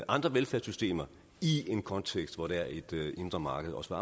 andre velfærdssystemer i en kontekst hvor der er et indre marked også